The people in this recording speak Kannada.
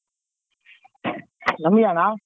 ನಮ್ಗೆ ಅಣ್ಣ?